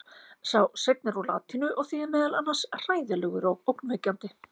sá seinni er úr latínu og þýðir meðal annars „hræðilegur“ og „ógnvekjandi“